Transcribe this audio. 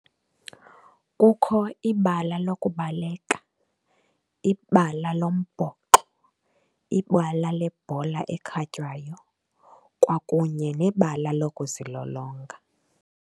Kukho ibala lokubaleka, ibala lombhoxo, ibala lebhola ekhatywayo, kwakunye nebala lokuzilolonga.